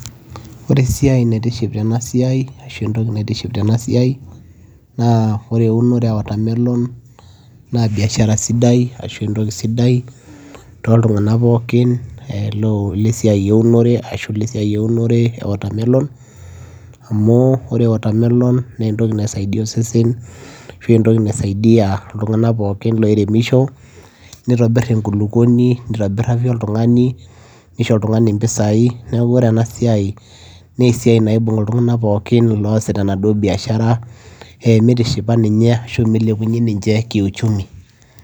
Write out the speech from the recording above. Ore esiai naitiship tena siai ashu entoki naitiship tena siai naa eunore e watermelon naa biashara sidai ashu entoki sidai toltung'anak pookin lo le siai eunore ashu le siai eunore e watermelon amu ore watermelon nee entoki nai saidia osesen ashu entoki nai saidia iltung'anak pookin loiremisho, nitobir enkulukoni, nitobir afya oltung'ani, nisho oltung'ani mpisai. Neeku ore ena siai nee siai naibung' iltung'anak pookin loosita enaduo biashara e mitishipa ninye ashu milepunye ninje kiuchumi.